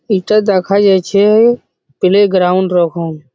এইটা দেখা যাছে প্লে গ্রাউন্ড রকম।